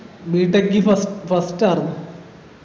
BTech ൽ ഫ first ആർന്നു